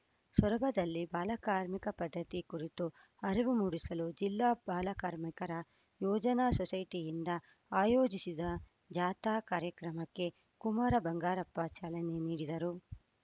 ಸೊರಬದಲ್ಲಿ ಬಾಲಕಾರ್ಮಿಕ ಪದ್ಧತಿ ಕುರಿತು ಅರಿವು ಮೂಡಿಸಲು ಜಿಲ್ಲಾ ಬಾಲಕಾರ್ಮಿಕರ ಯೋಜನಾ ಸೊಸೈಟಿಯಿಂದ ಆಯೋಜಿಸಿದ್ದ ಜಾಥಾ ಕಾರ್ಯಕ್ರಮಕ್ಕೆ ಕುಮಾರ ಬಂಗಾರಪ್ಪ ಚಾಲನೆ ನೀಡಿದರು